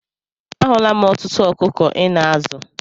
A hụla m ọtụtụ ọkụkọ Ị na-azụ.